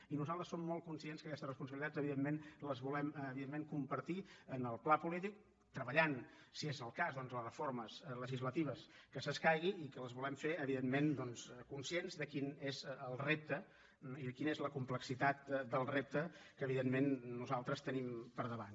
i nosaltres som molt conscients que aquestes responsabilitats evidentment les volem compartir en el pla polític treballant si és el cas doncs les reformes legislatives que s’escaigui i que les volem fer conscients de quin és el repte i de quina és la complexitat del repte que nosaltres tenim per davant